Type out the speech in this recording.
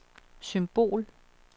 symbol